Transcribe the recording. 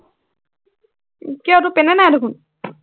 কিয় তোৰ পেনেই নাই দেখোন,